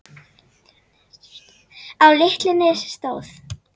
Á litlu nesi stóð